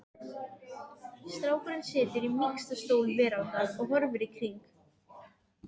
Strákurinn situr í mýksta stól veraldar og horfir í kring